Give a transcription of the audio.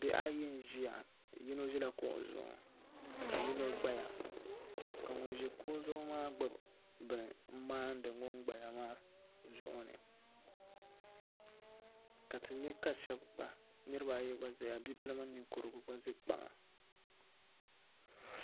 Bihi ayi n ʒiya yino ʒila kuɣu zuɣu ka yino gbaya ka ŋun ʒi kuɣu zuɣu maa gbubi bini n maandi ŋun gbaya maa zuɣu ni ka ti nyɛ ka niraba ayi gba ʒɛya bibil mini ninkurigu gba ʒɛ kpaŋa